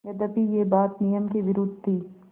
यद्यपि यह बात नियम के विरुद्ध थी